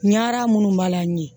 Ɲara munnu b'a la n ye